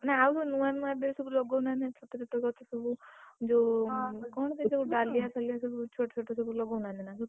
ନା ଆଉ ଯୋଉ ନୂଆ ନୂଆ ଏବେ ସବୁ ଲଗଉନାହାନ୍ତି ଛୋଟଛୋଟ ଗଛ ସବୁ ହଁ, କଣସବୁ ଡାଲିଆ ଫାଳୀୟା ସବୁ ଛୋଟଛୋଟ ସବୁ ଲଗଉଁନାହାନ୍ତି ନା ତ।